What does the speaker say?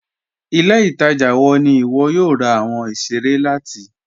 Ilẹ̀-ìtaja wọ̀ ní iwọ yóò rà awọn ìṣẹ̀rẹ̀ láti?